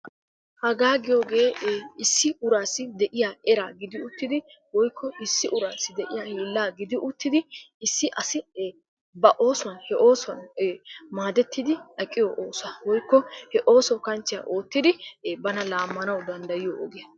Hagaa giyogee issi uraassi de"iya eraa gidi uttidi woykko issi uraassi de"iya hiillaa gidi uttidi issi asi ba oosuwan he oosuwan maadettidi aqiyo oosuwa woykko he ooso kanchchiya oottidi bana laammanawu danddayiyo ogiya.